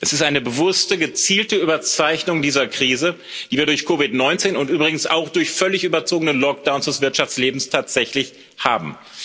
Es ist eine bewusste, gezielte Überzeichnung dieser Krise, die wir durch COVID 19 und übrigens auch durch völlig überzogene Lockdowns des Wirtschaftslebens tatsächlich haben.